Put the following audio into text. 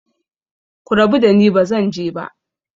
Ku rabu dani, ba zan je ba!